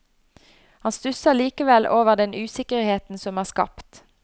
Han stusser likevel over den usikkerheten som er skapt.